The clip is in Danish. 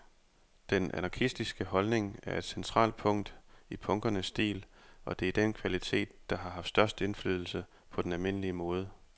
Den anarkistiske holdning er et centralt punkt i punkernes stil, og det er den kvalitet, der har haft størst indflydelse på den almindelige mode.